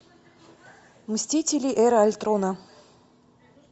мстители эра альтрона